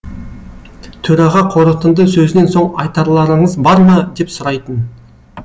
төраға қорытынды сөзінен соң айтарларыңыз бар ма деп сұрайтын